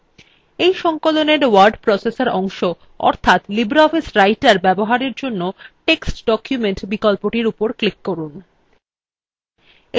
in সংকলনin word processor অংশ অর্থাৎ libreoffice writer ব্যবহারের জন্য text document বিকল্পটির উপর click করুন